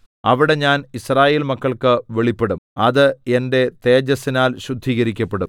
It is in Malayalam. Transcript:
അവിടെ ഞാൻ യിസ്രായേൽ മക്കൾക്ക് വെളിപ്പെടും അത് എന്റെ തേജസ്സിനാൽ ശുദ്ധീകരിക്കപ്പെടും